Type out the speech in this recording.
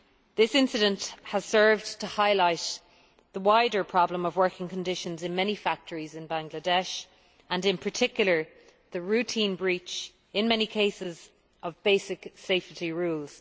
This problem has served to highlight the problem of working conditions in many factories in Bangladesh and in particular the routine breach, in many cases, of basic safety rules.